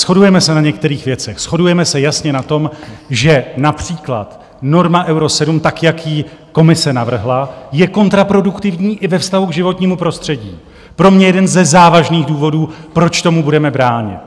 Shodujeme se na některých věcech, shodujeme se jasně na tom, že například norma Euro 7 tak, jak ji Komise navrhla, je kontraproduktivní i ve vztahu k životnímu prostředí, pro mě jeden ze závažných důvodů, proč tomu budeme bránit.